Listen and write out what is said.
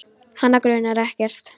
Hana grunar ekkert.